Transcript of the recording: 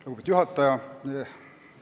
Lugupeetud juhataja!